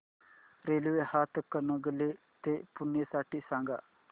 railway Hatkanangale ते पुणे साठी सांगा